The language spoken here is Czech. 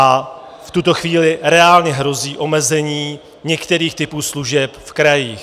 A v tuto chvíli reálně hrozí omezení některých typů služeb v krajích.